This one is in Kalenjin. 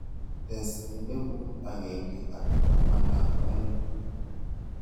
Tes elibuut agenge ak taman ak aeng'